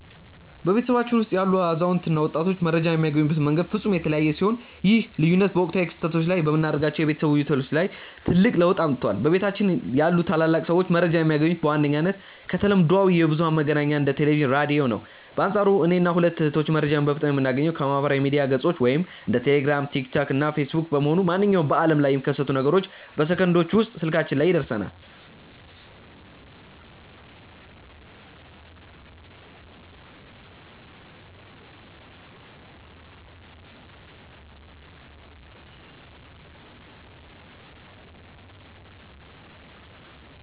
በቤተሰባችን ውስጥ ያሉ አዛውንት እና ወጣቶች መረጃን የሚያገኙበት መንገድ ፍጹም የተለያየ ሲሆን፣ ይህ ልዩነት በወቅታዊ ክስተቶች ላይ በምናደርጋቸው የቤተሰብ ውይይቶች ላይ ትልቅ ለውጥ አምጥቷል። በቤታችን ያሉ ታላላቅ ሰዎች መረጃን የሚያገኙት በዋነኝነት ከተለምዷዊ የብዙኃን መገናኛዎች እንደ ቴሌቪዥን፣ ራዲዮ ነው። በአንፃሩ እኔና ሁለቱ እህቶቼ መረጃን በፍጥነት የምናገኘው ከማኅበራዊ ሚዲያ ገጾች (እንደ ቴሌግራም፣ ቲክቶክ እና ፌስቡክ) በመሆኑ፣ ማንኛውም በዓለም ላይ የሚከሰት ነገር በሰከንዶች ውስጥ ስልካችን ላይ ይደርሰናል።